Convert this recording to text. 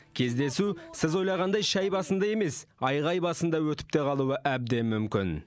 кездесу сіз ойлағандай шәй басында емес айғай басында өтіп те қалуы әбден мүмкін